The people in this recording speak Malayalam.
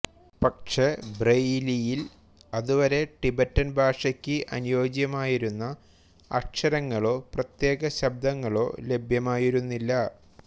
പക്ഷേ ബ്രെയിലിയിൽ അതുവരെ ടിബറ്റൻ ഭാഷയ്ക്കു് അനുയോജ്യമായിരുന്ന അക്ഷരങ്ങളോ പ്രത്യേക ശബ്ദങ്ങളോ ലഭ്യമായിരുന്നില്ല